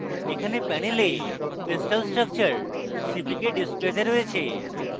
এখানে panel crystal structure cpk ডিসপ্লেতে রয়েছে